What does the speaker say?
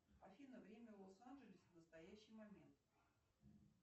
афина время в лос анджелесе в настоящий момент